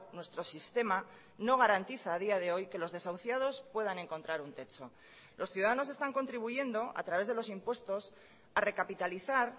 nuestro sistema no garantiza a día de hoy que los desahuciados puedan encontrar un techo los ciudadanos están contribuyendo a través de los impuestos a recapitalizar